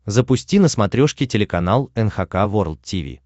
запусти на смотрешке телеканал эн эйч кей волд ти ви